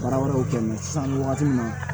Baara wɛrɛw kɛ n'i ye sisan nin wagati in na